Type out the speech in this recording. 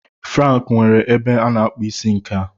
Frank nwere ebe a na-akpụ isi nke a.